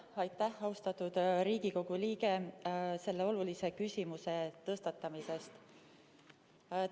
Aitäh, austatud Riigikogu liige, selle olulise küsimuse tõstatamise eest!